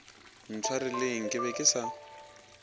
ntshwareleng ke be ke sa